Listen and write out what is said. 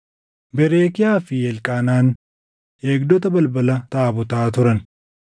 Berekiyaa fi Elqaanaan eegdota balbala taabotaa turan.